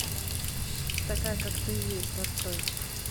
такая как ты есть открой